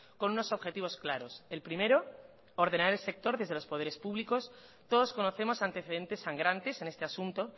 con unos objetivos claros el primero ordenar el sector desde los poderes públicos todos conocemos antecedentes sangrantes en este asunto